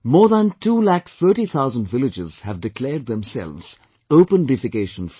More than two lakh thirty thousand villages have declared themselves open defecation free